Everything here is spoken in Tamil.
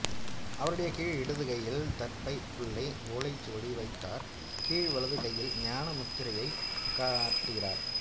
அவருடைய கீழ் இடது கையில் தர்பைப் புல்லை ஓலைச்சுவடி வைத்துள்ளார் கீழ் வலது கையில் ஞான முத்திரையையும் காட்டுகிறார்